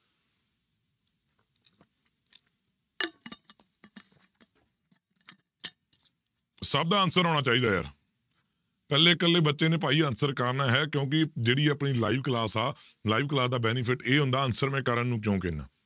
ਸਭ ਦਾ answer ਆਉਣਾ ਚਾਹੀਦਾ ਯਾਰ ਇਕੱਲੇ ਇਕੱਲੇ ਬੱਚੇ ਨੇ ਭਾਈ answer ਕਰਨਾ ਹੈ ਕਿਉਂਕਿ ਜਿਹੜੀ ਆਪਣੀ live class ਆ live class ਦਾ benefit ਇਹ ਹੁੰਦਾ answer ਮੈਂ ਕਰਨ ਨੂੰ ਕਿਉਂ ਕਹਿਨਾ